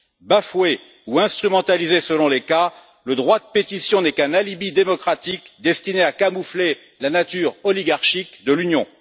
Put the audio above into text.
Bafoué ou instrumentalisé, selon les cas, le droit de pétition n'est qu'un alibi démocratique destiné à camoufler la nature oligarchique de l'Union.